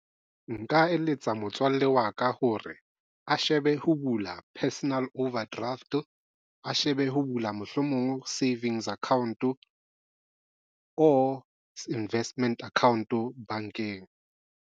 Nka eletsa motswalle wa ka hore a shebe ho bula personal overdraft a shebe ho bula mohlomong savings account or investment account o bankeng.